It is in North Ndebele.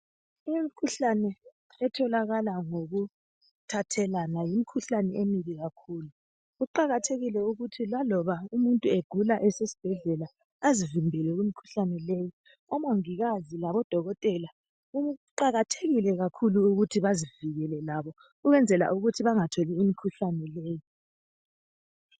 Imikhuhlane etholakala ngokuthathelana yikhuhlane emini kakhulu. Kuqakathekile ukuthi laloba umuntu egula esesibhedlela azivikele kumkhuhlane le. Omongikazi labodokotela kuqakathekile kakhulu ukuthi bazivikele labo ukwenzela ukuthi bangatholi imikhuhlane leyi.